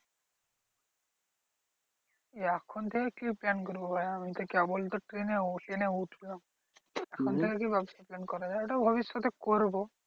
এখন থেকে কি করে plan করবো? এখন কেবল তো ten এ ten এ উঠলাম। এখন থেকে কি করা যায়? ওটা ভবিষ্যতে করবো।